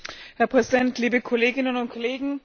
Herr Präsident, liebe Kolleginnen und Kollegen!